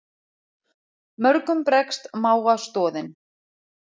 Mörgum bregst mága stoðin.